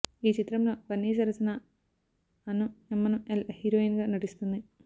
ఈ చిత్రం లో బన్నీ సరసన అను ఎమ్మనుఎల్ హీరోయిన్ గా నటిస్తుంది